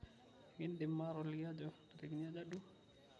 ekindim atoliki ajo ntariki aja duo